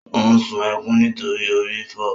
Ó sun ẹkún nítorí orí ń fọ.